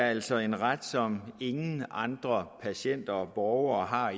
altså er en ret som ingen andre patienter og borgere har